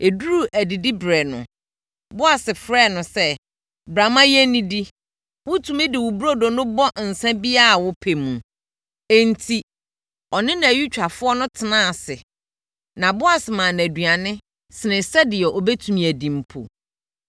Ɛduruu adidiberɛ no, Boas frɛɛ no sɛ, “Bra ma yɛnnidi. Wotumi de wo burodo no bɔ nsã biara a wopɛ mu.” Enti, ɔne nʼayutwafoɔ no tenaa ase na Boas maa no aduane sene sɛdeɛ ɔbɛtumi adi mpo.